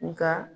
Nga